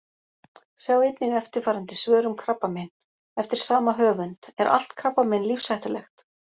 Sjá einnig eftirfarandi svör um krabbamein: Eftir sama höfund: Er allt krabbamein lífshættulegt?